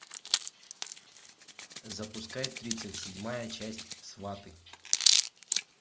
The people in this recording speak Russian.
запускай тридцать седьмая часть сваты